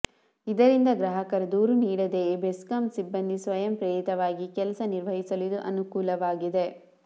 ಇದರಿಂದ ಗ್ರಾಹಕರು ದೂರು ನೀಡದೆಯೇ ಬೆಸ್ಕಾಂ ಸಿಬ್ಬಂದಿ ಸ್ವಯಂ ಪ್ರೇರಿತವಾಗಿ ಕೆಲಸ ನಿರ್ವಹಿಸಲು ಇದು ಅನುಕೂಲವಾಗಲಿದೆ